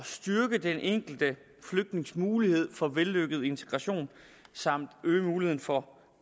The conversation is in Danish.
styrke den enkelte flygtnings mulighed for vellykket integration samt øge muligheden for